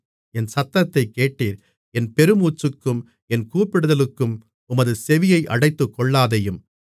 என் சத்தத்தைக் கேட்டீர் என் பெருமூச்சுக்கும் என் கூப்பிடுதலுக்கும் உமது செவியை அடைத்துக்கொள்ளாதேயும்